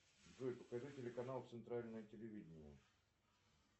джой покажи телеканал центральное телевидение